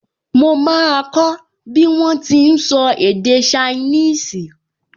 Mo máa kọ́ bí wọ́n ti n sọ èdè ṣainíìsì